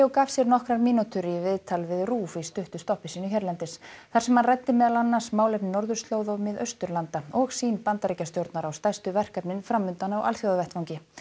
gaf sér nokkrar mínútur í viðtal við RÚV í stuttu stoppi sínu hérlendis þar sem hann ræddi meðal annars málefni norðurslóða og Mið Austurlanda og sýn Bandaríkjastjórnar á stærstu verkefnin fram undan á alþjóðavettvangi